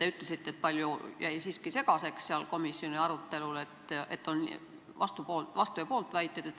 Te ütlesite, et palju asju jäi siiski segaseks seal komisjoni arutelul, et oli vastu- ja pooltväiteid.